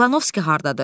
İvanovski hardadır?